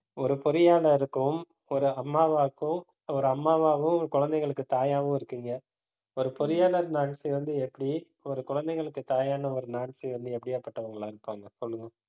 ஒரு பொறியாளருக்கும் ஒரு அம்மாவாக்கும் ஒரு அம்மாவாவும் குழந்தைங்களுக்கு தாயாகவும் இருக்கீங்க. ஒரு பொறியாளர் வந்து, எப்படி ஒரு குழந்தைங்களுக்கு தாயான ஒரு வந்து, எப்படியாப்பட்டவங்களா இருப்பாங்க சொல்லுங்க